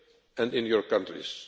and in your countries.